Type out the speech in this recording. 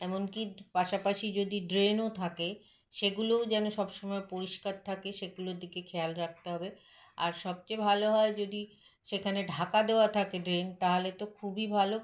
এমনকি পাশাপাশি যদি drain -ও থাকে সেগুলোও যেন সবসময় পরিস্কার থাকে সেগুলোর দিকে খেয়াল রাখতে হবে আর সবচেয়ে ভালো হয় যদি সেখানে ঢাকা দেওয়া থাকে drain তাহলে তো খুবই ভালো